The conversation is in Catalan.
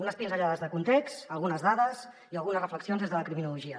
unes pinzellades de context algunes dades i algunes reflexions des de la criminologia